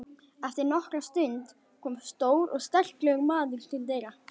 Eftir nokkra stund kom stór og sterklegur maður til dyra.